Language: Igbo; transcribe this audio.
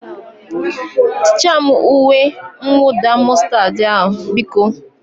Tichaa m uwe mwụda mọstad a, biko?